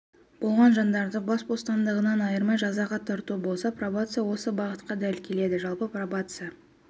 болған жандарды бас бостандығынан айырмай жазаға тарту болса пробация осы бағытқа дәл келеді жалпы пробация